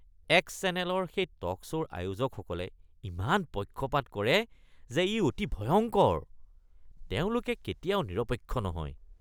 X চেনেলৰ সেই talk শ্ব’ৰ আয়োজকসকলে ইমান পক্ষপাত কৰে যে ই অতি ভয়ংকৰ। তেওঁলোকে কেতিয়াও নিৰপেক্ষ নহয়।